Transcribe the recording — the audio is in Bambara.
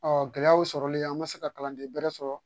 Ɔ gɛlɛyaw sɔrɔlen an ma se ka kalanden bɛrɛ sɔrɔ